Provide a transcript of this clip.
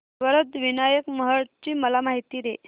वरद विनायक महड ची मला माहिती दे